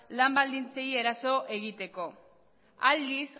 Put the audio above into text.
lan baldintzei eraso egiteko aldiz